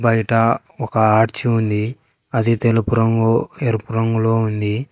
బైటా ఒక ఆర్చి ఉంది అది తెలుపు రంగు ఎరుపు రంగులో ఉంది.